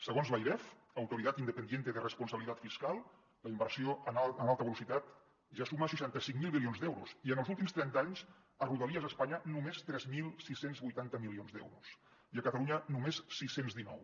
segons l’airef autoridad independiente de responsabilidad fiscal la inversió en alta velocitat ja suma seixanta cinc mil milions d’euros i en els últims trenta anys a rodalies a espanya només tres mil sis cents i vuitanta milions d’euros i a catalunya només sis cents i dinou